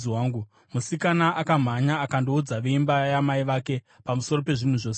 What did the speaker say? Musikana akamhanya akandoudza veimba yamai vake pamusoro pezvinhu zvose izvi.